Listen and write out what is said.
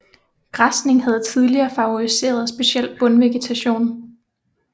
Græsning havde tidligere favoriseret speciel bundvegetation